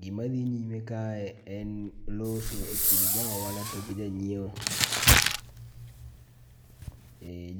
Gimadhi nyime kae en loso e kind jaohala to gijanyieo.